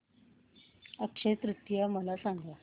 अक्षय तृतीया मला सांगा